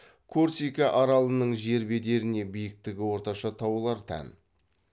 корсика аралының жер бедеріне биіктігі орташа таулар тән